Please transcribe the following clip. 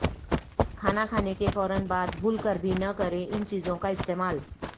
کھانا کھانے کے فورا بعد بھول کر بھی نہ کریں ان چیزوں کا استعمال